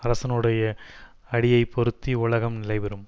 அரசனுடைய அடியைப்பொருந்தி உலகம் நிலை பெறும்